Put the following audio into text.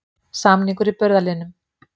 Samningur í burðarliðnum